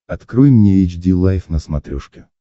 открой мне эйч ди лайф на смотрешке